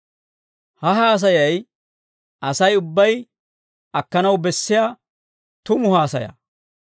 Ha haasayay Asay ubbay akkanaw bessiyaa tumu haasaya.